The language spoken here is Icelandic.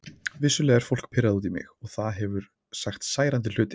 Vissulega er fólk pirrað út í mig og það hefur sagt særandi hluti.